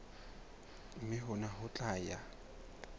mme hona ho tla ya